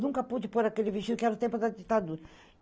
Nunca pude pôr aquele vestido, que era o tempo da ditadura.